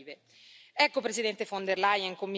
Sta a noi adesso non deludere le loro aspettative.